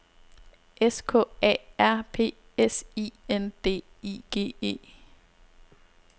S K A R P S I N D I G E